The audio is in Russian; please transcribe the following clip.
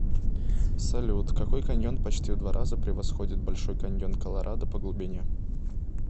салют какой каньон почти в два раза превосходит большой каньон колорадо по глубине